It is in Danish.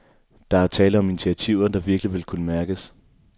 Der er tale om initiativer, der virkelig ville kunne mærkes.